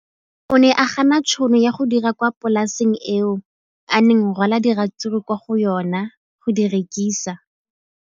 O ne a gana tšhono ya go dira kwa polaseng eo a neng rwala diratsuru kwa go yona go di rekisa.